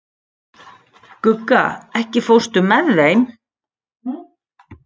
Gugga, ekki fórstu með þeim?